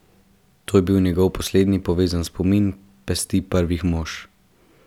To je bil njegov poslednji povezan spomin Pesti Prvih mož.